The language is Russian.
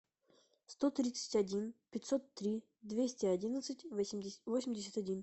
сто тридцать один пятьсот три двести одиннадцать восемьдесят один